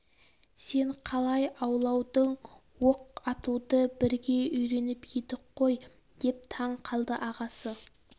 сен қалай ауладың оқ атуды бірге үйреніп едік қой деп таң қалды ағасы